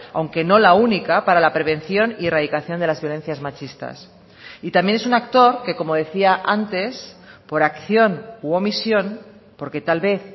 aunque no la única para la prevención y erradicación de las violencias machistas y también es un actor que como decía antes por acción u omisión porque tal vez